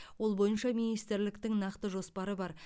ол бойынша министрліктің нақты жоспары бар